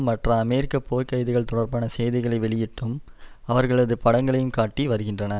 மற்றும் அமெரிக்க போர்கைதிகள் தொடர்பான செய்திகளை வெளியிட்டும் அவர்களது படங்களையும் காட்டி வருகின்றன